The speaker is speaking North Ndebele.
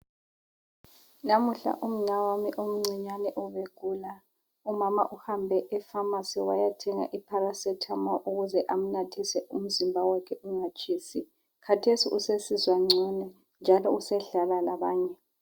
Namuhla umnawami omncinyane ubegula. Umama uhambe epharmacy wayathenga iParacetamol ukuze amnathise umzimba wakhe ungatshisi. Khathesi usesizwa ngcono njalo usedlala labanye.